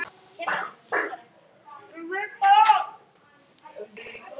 En hverjir kaupa svo vörurnar?